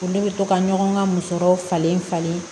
Ne bɛ to ka ɲɔgɔn ka musɔrɔw falen falen